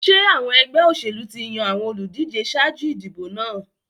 Ṣé àwọn ẹgbẹ́ òṣèlú ti yan àwọn olùdíje ṣáájú ìdìbò náà?